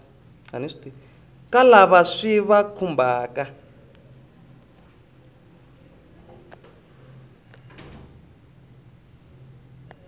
ka lava swi va khumbhaka